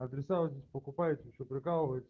адреса вы здесь покупаете вы че прикалываете